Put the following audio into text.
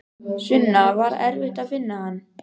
Sunna: Var erfitt að finna hann?